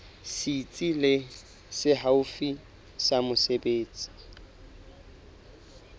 setsi se haufi sa mesebetsi